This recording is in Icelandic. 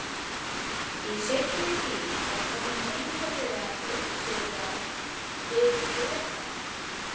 Í seinni tíð var honum einkanlega uppsigað við Bretana.